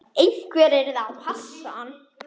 Einhver yrði að passa hann.